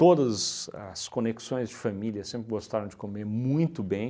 Todos as conexões de família sempre gostaram de comer muito bem.